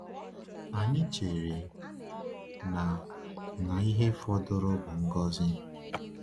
Anyị chere na na ihe fọdụrụ bụ ngọzi.